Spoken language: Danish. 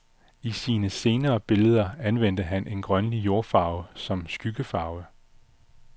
I sine senere billeder anvendte han en grønlig jordfarve som skyggefarve.